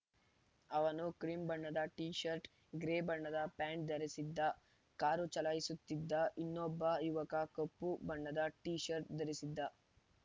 ಅವನು ಕ್ರಿಮ್‌ ಬಣ್ಣದ T shirt grey ಬಣ್ಣದ ಪ್ಯಾಂಟ್‌ ಧರಿಸಿದ್ದ ಕಾರು ಚಾಲಾಯಿಸುತ್ತಿದ್ದ ಇನ್ನೊಬ್ಬ ಯುವಕ ಕಪ್ಪು ಬಣ್ಣದ ಟೀ ಶರ್ಟ್‌ ಧರಿಸಿದ್ದ